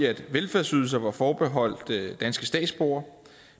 at velfærdsydelser var forbeholdt danske statsborgere